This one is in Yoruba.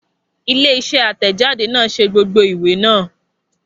Ilé isé àtẹ̀jáde náà ṣe gbogbo ìwé náà